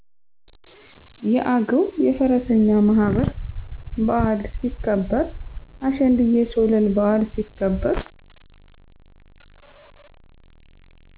የአገዉ የፈረሰኛ ማህበር በዓል ሲከበር። አሸንድየ ሶለላ በዓል ሲከበር